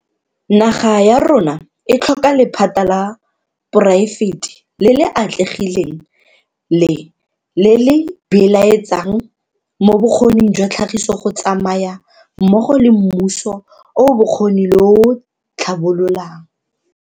Naga ya rona e tlhoka lephata la poraefete le le atlegileng le le le beeletsang mo bokgoning jwa tlhagiso go tsamaya mmogo le mmuso o o bokgoni le o o tlhabololang.